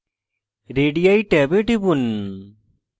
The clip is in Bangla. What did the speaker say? radii ট্যাবে টিপুন